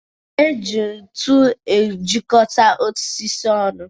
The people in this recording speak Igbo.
E ji ntu ejikọta osisi ọnụ.